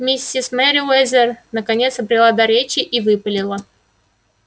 миссис мерриуэзер наконец обрела дар речи и выпалила